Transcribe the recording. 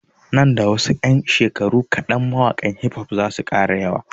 Nan da wasu ƴan shekaru mawaƙan hifof zasu ƙara yawa